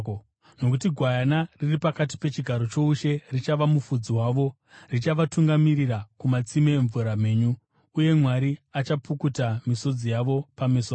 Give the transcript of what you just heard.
Nokuti Gwayana riri pakati pechigaro choushe richava mufudzi wavo; richavatungamirira kumatsime emvura mhenyu. Uye Mwari achapukuta misodzi yose pameso avo.”